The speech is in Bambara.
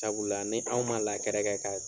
Sabula ni anw ma kɛ ka